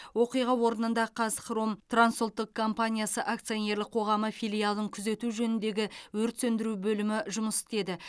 оқиға орнында қазхром транс ұлттық компаниясы акционерлік қоғамы филиалын күзету жөніндегі өрт сөндіру бөлімі жұмыс істеді